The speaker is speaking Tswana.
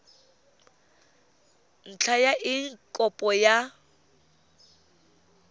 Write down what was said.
ntlha ya eng kopo ya